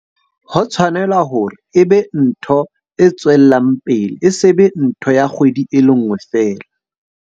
Ho tshwanela hore e be ntho e tswellang pele, e se be ntho ya kgwedi e le nngwe feela.